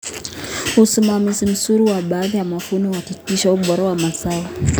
Usimamizi mzuri wa baada ya mavuno unahakikisha ubora wa mazao.